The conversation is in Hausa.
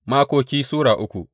Makoki Sura uku